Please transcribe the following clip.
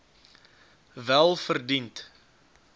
welverdiend